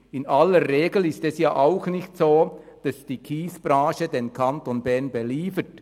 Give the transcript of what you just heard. In aller Regel ist es auch nicht so, dass die Kiesbranche den Kanton Bern beliefert.